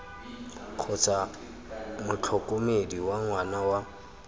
kgotsa motlhokomedi wa ngwana wa